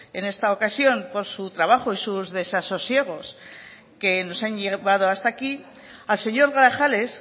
en esta ocasión por su trabajo y sus desasosiegos que nos han llevado hasta aquí al señor grajales